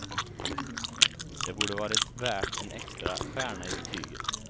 Det borde varit värt en extra stjärna i betyget.